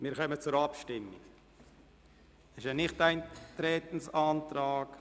Wir kommen zur Abstimmung über den Nichteintretensantrag.